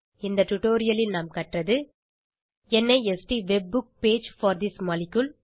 இந்த டுடோரியலில் நாம் கற்றது NIST webbook page for this molecule